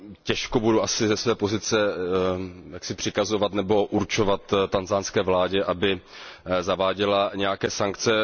Těžko budu asi ze své pozice přikazovat nebo určovat tanzanské vládě, aby zaváděla nějaké sankce.